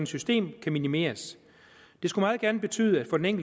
system kan minimeres det skulle meget gerne betyde for den